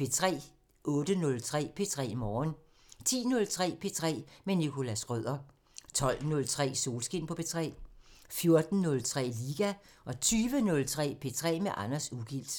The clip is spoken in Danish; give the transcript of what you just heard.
08:03: P3 Morgen 10:03: P3 med Nicholas Schrøder 12:03: Solskin på P3 14:03: Liga 20:03: P3 med Anders Ugilt